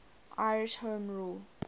irish home rule